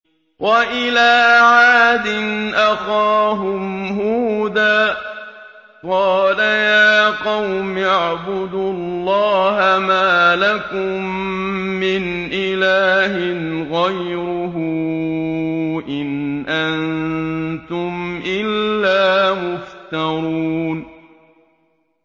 وَإِلَىٰ عَادٍ أَخَاهُمْ هُودًا ۚ قَالَ يَا قَوْمِ اعْبُدُوا اللَّهَ مَا لَكُم مِّنْ إِلَٰهٍ غَيْرُهُ ۖ إِنْ أَنتُمْ إِلَّا مُفْتَرُونَ